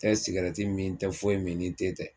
N tɛ sigɛrɛti mi n tɛ foyi mi ni te tɛ